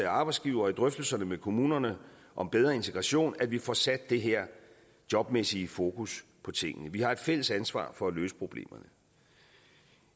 og arbejdsgivere og i drøftelserne med kommunerne om bedre integration at vi får sat det her jobmæssige fokus på tingene vi har et fælles ansvar for at løse problemerne